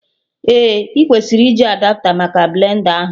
Ee, ị kwesịrị iji Adapta maka blend a ahụ